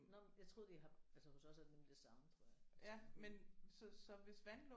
Nåh men jeg troede I har altså hos os er det nemlig det samme tror jeg